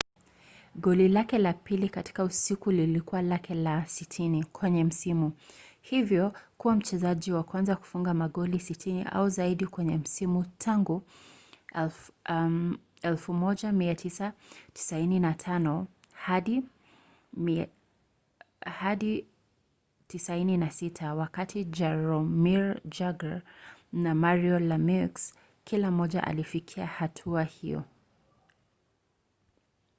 goli lake la pili katika usiku lilikuwa lake la 60 kwenye msimu hivyo kuwa mchezaji wa kwanza kufunga magoli 60 au zaidi kwenye msimu tangu 1995-96 wakati jaromir jagr na mario lamieux kila mmoja alifikia hatua hiyo